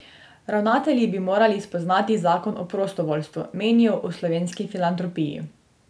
Ravnatelji bi morali spoznati zakon o prostovoljstvu, menijo v Slovenski filantropiji.